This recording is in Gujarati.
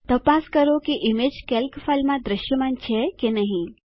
તપાસ કરો કે ઈમેજ કેલ્ક ફાઈલમાં દ્રશ્યમાન છે કે નહી